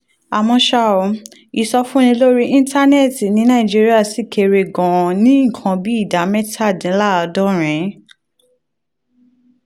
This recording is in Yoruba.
àmọ́ ṣá o ìsọfúnni lórí íńtánẹ́ẹ̀tì ní nàìjíríà ṣì kéré gan-an ní nǹkan bí ìdá mẹ́tàdínláàádọ́rin